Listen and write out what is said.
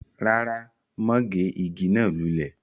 rárá, mọ́ gé igi náà lulẹ̀